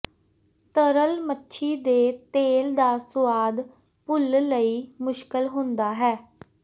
ਤਰਲ ਮੱਛੀ ਦੇ ਤੇਲ ਦਾ ਸੁਆਦ ਭੁੱਲ ਲਈ ਮੁਸ਼ਕਲ ਹੁੰਦਾ ਹੈ